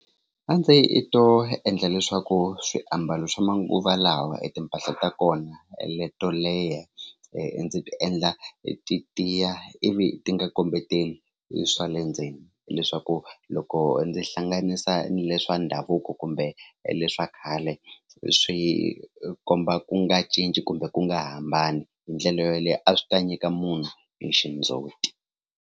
A ndzi to endla leswaku swiambalo swa manguva lawa i timpahla ta kona leto leha ndzi ti endla ti tiya ivi ti nga kombeteli swa le ndzeni leswaku loko ndzi hlanganisa ni le swa ndhavuko kumbe le swa khale swi komba ku nga cinci kumbe ku nga hambani hi ndlela yaleyo a swi ta nyika munhu ni xindzhuti.